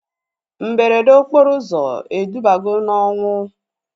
Mberede okporo ụzọ edubago na ọnwụ